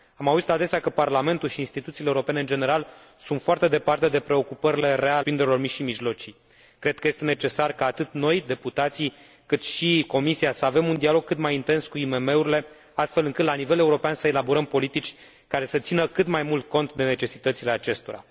Am auzit adesea că Parlamentul și instituțiile europene în general sunt foarte departe de preocupările reale ale întreprinderilor mici și mijlocii. Cred că este necesar ca atât noi, deputații, cât și Comisia să avem un dialog cât mai intens cu IMM urile astfel încât, la nivel european, să elaborăm politici care să țină cât mai mult cont de necesitățile acestora.